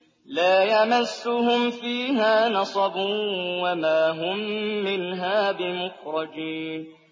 لَا يَمَسُّهُمْ فِيهَا نَصَبٌ وَمَا هُم مِّنْهَا بِمُخْرَجِينَ